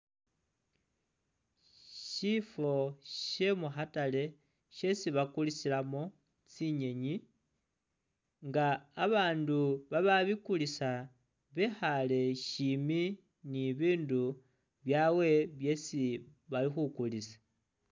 Shifo she mukhatale shesi bakulisilamo tsinyenyi nga babaandu bababikulisa bekhale shimbi ni bindu byawe byesi bali khukulisa.